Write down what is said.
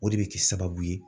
O de bɛ k'i sababu ye.